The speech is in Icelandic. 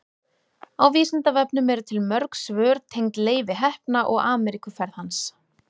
á vísindavefnum eru til mörg svör tengd leifi heppna og ameríkuferð hans